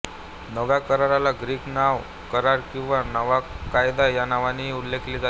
नव्या कराराला ग्रीक नवा करार किंवा नवा कायदा या नावांनीही उल्लेखले जाते